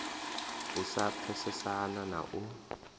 u sa pfesesana na u